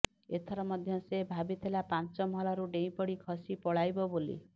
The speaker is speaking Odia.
ଏଥର ମଧ୍ୟ ସେ ଭାବିଥିଲା ପାଞ୍ଚ ମହଲାରୁ ଡେଇଁପଡ଼ି ଖସି ପଳାଇବ ବୋଲି